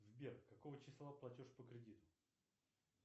сбер какого числа платеж по кредиту